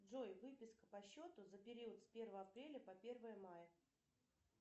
джой выписка по счету за период с первое апреля по первое мая